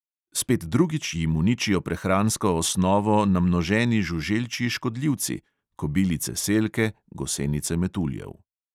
Spet drugič jim uničijo prehransko osnovo namnoženi žuželčji škodljivci (kobilice selke, gosenice metuljev).